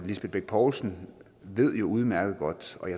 lisbeth bech poulsen ved jo udmærket godt